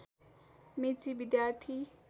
मेची विद्यार्थी